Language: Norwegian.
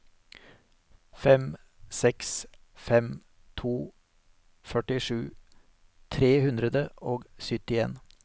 fem seks fem to førtisju tre hundre og syttien